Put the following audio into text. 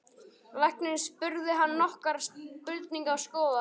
Læknirinn spurði hann nokkurra spurninga og skoðaði hann.